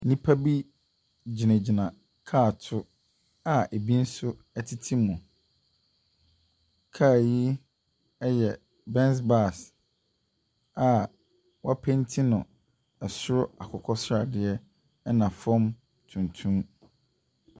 Nnipa bi gyinagyina kaa to a bi nso tete mu. Kaa yi yɛ Benz Bus a wɔapenti no soro akokɔ sradeɛ na fam tuntum.